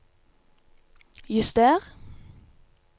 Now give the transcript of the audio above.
juster